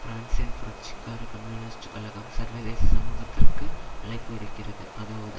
பிரான்சின் புரட்சிகார கம்யூனிஸ்ட் கழகம் சர்வதேச சமூகத்திற்கு அழைப்பு விடுக்கிறது அதாவது